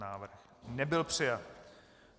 Návrh nebyl přijat.